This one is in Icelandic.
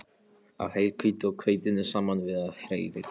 af heilhveitinu og hveitinu saman við og hrærið.